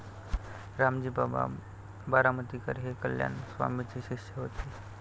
रामजी बाबा बारामतीकर हे कल्याण स्वामींचे शिष्य होते.